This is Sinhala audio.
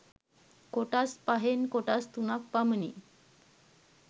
කොටස් පහෙන් කොටස් තුනක් පමණි.